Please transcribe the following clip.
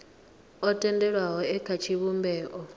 o tendelwaho e kha tshivhumbeo